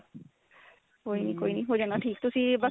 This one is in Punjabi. ਕੋਈ ਨੀ ਕੋਈ ਨੀ ਹੋ ਜਾਣਾ ਠੀਕ ਤੁਸੀਂ ਬੱਸ